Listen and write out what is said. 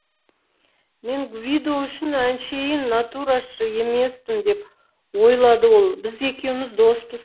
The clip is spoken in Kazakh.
мен гвидо үшін әншейін натурашы емеспін деп ойлады ол біз екеуміз доспыз